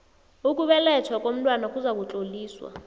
ukubelethwa komntwana kuzakutloliswa